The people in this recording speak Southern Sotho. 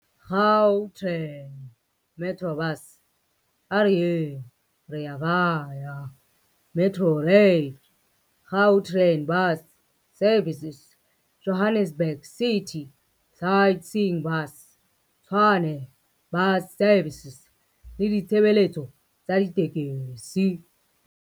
Gautrain, Metrobus, A Re Yeng, Rea Vaya, Metrorail, Gau train Bus Services, Johannesburg City Sightseeing Bus, Tshwane Bus Services le ditshebeletso tsa ditekesi.